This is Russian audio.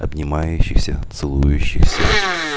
обнимающихся целующихся